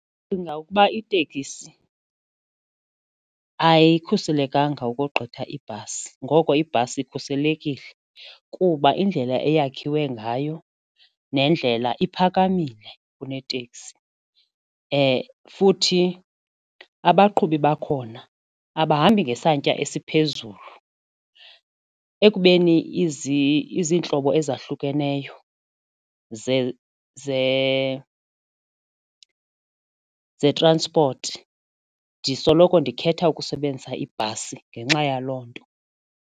Ndicinga ukuba itekisi ayikhuselekanga ukogqitha ibhasi ngoko ibhasi ikhuselekile kuba indlela eyakhiwe ngayo nendlela iphakamile kuneteksi futhi abaqhubi bakhona abahambi ngesantya esiphezulu ekubeni izintlobo ezahlukeneyo ze-transport ndisoloko ndikhetha ukusebenzisa ibhasi ngenxa yaloo nto.